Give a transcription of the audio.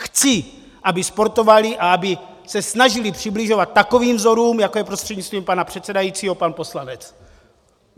Chci, aby sportovaly a aby se snažily přibližovat takovým vzorům, jako je prostřednictvím pana předsedajícího pan poslanec .